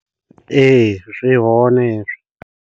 Ee zwi hone hezwo.